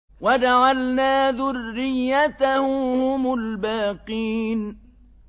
وَجَعَلْنَا ذُرِّيَّتَهُ هُمُ الْبَاقِينَ